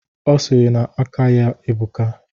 Ọ sịrị na aka ya ebuka